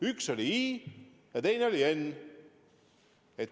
Üks oli "i" ja teine oli "n".